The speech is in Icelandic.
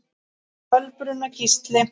Kolbrún og Gísli.